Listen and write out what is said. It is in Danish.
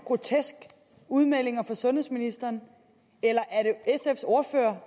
groteske udmeldinger fra sundhedsministeren eller